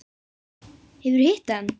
Hefurðu hitt hann?